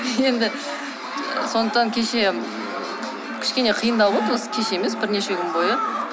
енді сондықтан кеше кішкене қиындау болды осы кеше емес осы бірнеше күн бойы